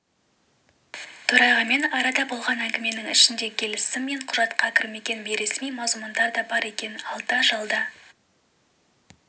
төрағамен арада болған әңгіменің ішінде келісім мен құжатқа кірмеген бейресми мазмұндар да бар егер алда-жалда